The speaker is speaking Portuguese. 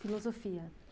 Filosofia?